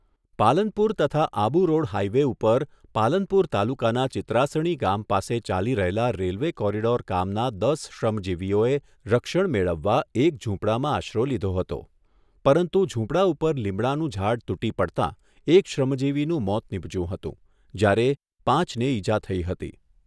પાલનપુર તથા આબુરોડ હાઈવે ઉપર પાલનપુર તાલુકાના ચિત્રાસણી ગામ પાસે ચાલી રહેલા રેલવે કોરીડોર કામના દસ શ્રમજીવીઓએ રક્ષણ મેળવવા એક ઝૂંપડામાં આશરો લીધો હતો, પરંતુ ઝૂંપડા ઉપર લીમડાનું ઝાડ તૂટી પડતાં એક શ્રમજીવીનું મોત નીપજ્યું હતું, જ્યારે પાંચને ઈજા થઈ હતી.